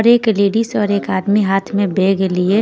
और एक लेडीज और एक आदमी हाथ में बैग लिए --